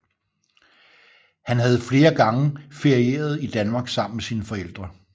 Han havde flere gange ferieret i Danmark sammen med sine forældre